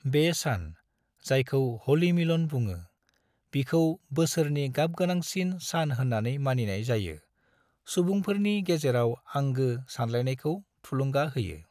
बे सान, जायखौ "ह'लि मिलन" बुङो, बिखौ बोसोरनि गाबगोनांसिन सान होननानै मानिनाय जायो, सुबुंफोरनि गेजेराव आंगो सानलायनायखऔ थुलुंगा होयो।